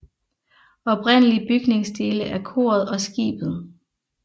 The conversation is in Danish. Oprindelige bygningsdele er koret og skibet